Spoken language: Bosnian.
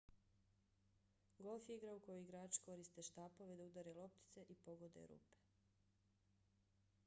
golf je igra u kojoj igrači koriste štapove da udare loptice i pogode rupe